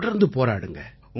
தொடர்ந்து போராடுங்க